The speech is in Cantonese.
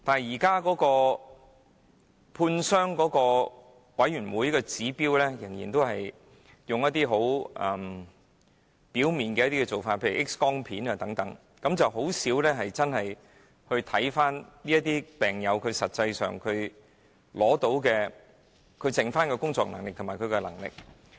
現時負責判傷的委員會，仍然以很表面的指標作判斷，例如 X 光片等，甚少真正審視病友實際上剩餘的工作能力和生活自理能力。